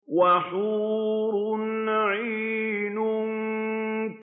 وَحُورٌ عِينٌ